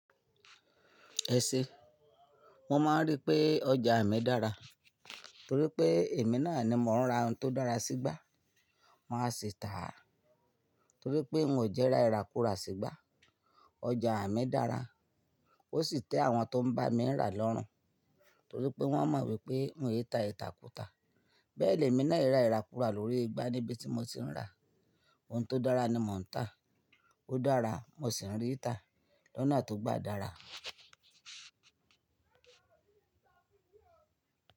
Ẹ̀ṣẹ̀, mo máa ń rí pé ọjà mi dára torí pé èmi náà ni mò ń ra ohun tó dára sígbá. Máa sì tà á torí pé n ò jẹ́rá ìrakura sígbá. Ọjà mi dára, ó sì tẹ́ àwọn tó ń bá mi rà lọ́rùn torí pé wọ́n mọ wípé n yẹta ìtàkùn ta. Bẹ́ẹ̀ lèmi náà e ra ìrakura lórí igbá níbi tí mo ti ń ra. Ohun tó dára ni mò ń tàá, ó dára, mo sì ń rí í tà lọ́nà tó gbà dára.